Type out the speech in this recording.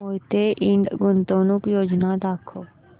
मोहिते इंड गुंतवणूक योजना दाखव